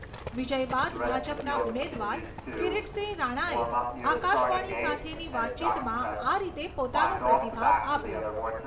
વિજય બાદ ભાજપના ઉમેદવાર કિરિટસિંહ રાણાએ આકાશવાણી સાથેની વાતચીતમાં આ રીતે પોતાનો પ્રતિભાવ આપ્યો.